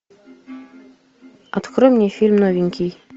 открой мне фильм новенький